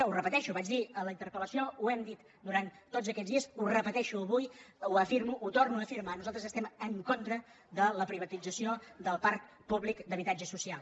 ho repeteixo ho vaig dir en la interpeles ho repeteixo avui ho afirmo ho torno a afirmar nosaltres estem en contra de la privatització del parc públic d’habitatge social